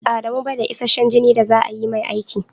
Adamu bai da isashen jini da za a yi mai aiki.